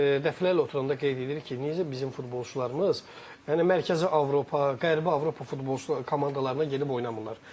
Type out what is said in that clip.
Baxın, biz dəfələrlə oturanda qeyd edirik ki, niyə bizim futbolçularımız yəni Mərkəzi Avropa, Qərbi Avropa futbol komandalarına gedib oynamırlar.